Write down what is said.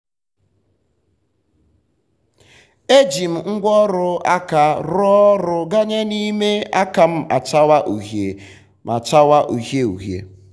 e um ji m ngwáọrụ aka rụọ ọrụ um ganye na ime aka m achawa uhie m achawa uhie uhie.